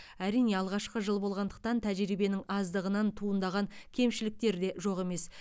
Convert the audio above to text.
әрине алғашқы жыл болғандықтан тәжірибенің аздығынан туындаған кемшіліктерде жоқ емес